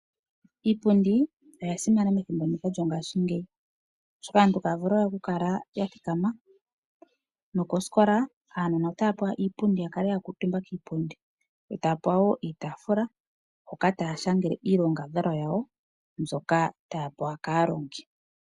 Iipundi oyasimana methimbo ndika lyongashingeyi oshoka aantu itaya vulu we okukala yathikama, nokoosikola aanona otaya pewa iipundi yakale yakuutumba kiipundi e taya pewa woo iitafula hoka taya shangele iilongadhalwa yawo mbyoka taya pewa kaalongi.